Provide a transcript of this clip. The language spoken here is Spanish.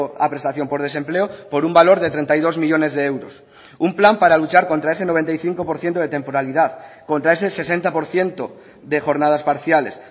a prestación por desempleo por un valor de treinta y dos millónes de euros un plan para luchar contra ese noventa y cinco por ciento de temporalidad contra ese sesenta por ciento de jornadas parciales